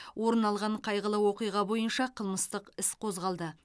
орын алған қайғылы оқиға бойынша қылмыстық іс қозғалды